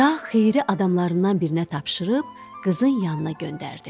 Şah xeyri adamlarından birinə tapşırıb, qızın yanına göndərdi.